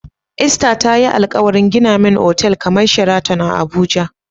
Esther tayi alkawarin gina min otel kamar Sheraton a abuja